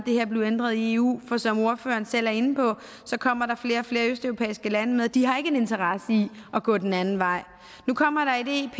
det her blive ændret i eu for som ordføreren selv er inde på kommer der flere og flere østeuropæiske lande med og de har ikke en interesse i at gå den anden vej nu kommer der et ep